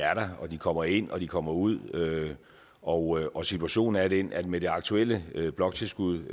er der og de kommer ind og de kommer ud og og situationen er den at med det aktuelle bloktilskud